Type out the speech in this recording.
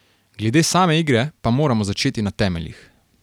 Glede same igre pa moramo začeti na temeljih.